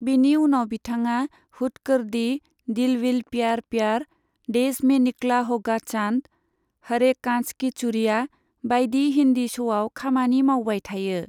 बिनि उनाव बिथाङा हुड कर दी, दिल विल प्यार प्यार, देश में निकला होगा चांद, हरे कांच की चूड़ियां बायदि हिन्दी श'आव खामानि मावबाय थायो।